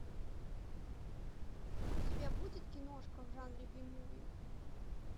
у тебя будет киношка в жанре би муви